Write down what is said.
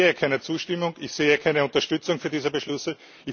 Ich sehe keine Zustimmung, ich sehe keine Unterstützung für diese Beschlüsse.